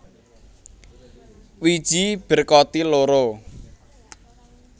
Wiji berkotil loro